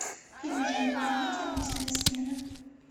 фильм в жанре комедия ночная смена